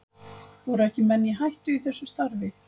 Voru ekki menn í hættu í þessu starfi?